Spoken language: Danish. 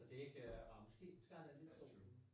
Så det ikke øh ej måske har jeg det lidt sådan